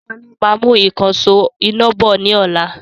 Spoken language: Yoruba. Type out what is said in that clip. Sọlá máa mú ìkansò iná bọ̀ ni ọ̀la